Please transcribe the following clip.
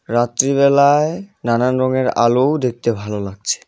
রাত্রি বেলায় নানান রঙের আলো দেখতে ভালো লাগছে।